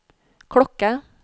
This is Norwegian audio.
klokke